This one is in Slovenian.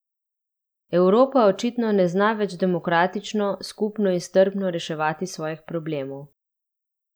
Evropa očitno ne zna več demokratično, skupno in strpno reševati svojih problemov.